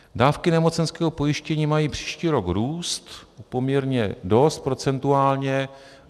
Dávky nemocenského pojištění mají příští rok růst poměrně dost procentuálně.